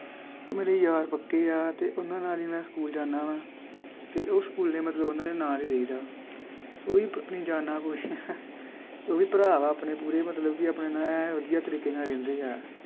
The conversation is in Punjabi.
ਉਹ ਮੇਰੇ ਯਾਰ ਪੱਕੇ ਆ ਤੇ ਉਹਨਾਂ ਨਾਲ ਹੀ ਮੈ ਸਕੂਲ ਜਾਨਾ ਵਾ ਤੇ ਉਹ ਸਕੂਲ ਦੇ ਮਤਲਬ ਉਹਨਾਂ ਦੇ ਨਾਲ ਹੀ ਰਹੀਦਾ। ਓਹੀ ਆਪਣੀ ਜਾਨ ਆ ਕੁਛ ਉਹ ਵੀ ਭਰਾ ਵਾ ਆਪਣੇ ਪੂਰੇ ਮਤਲਬ ਕਿ ਆਪਣੇ ਨਾਲ ਏਂ ਵਧੀਆ ਤਰੀਕੇ ਨਾਲ ਰਹਿੰਦੇ ਆ।